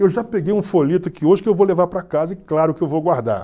Eu já peguei um folheto aqui hoje que eu vou levar para casa e claro que eu vou guardar.